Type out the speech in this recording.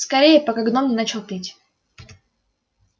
скорее пока гном не начал петь